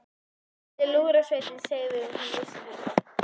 Hvað ætli Lúðrasveitin segði ef hún vissi þetta?